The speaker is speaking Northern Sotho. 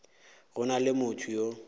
go na le motho yo